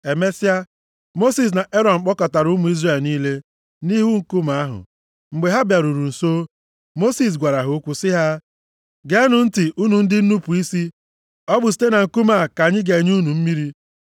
Emesịa, Mosis na Erọn kpọkọtara ụmụ Izrel niile nʼihu nkume ahụ. Mgbe ha bịaruru nso, Mosis gwara ha okwu sị ha, “Geenụ ntị unu ndị nnupu isi! Ọ bụ site na nkume a ka anyị ga-enye unu mmiri?”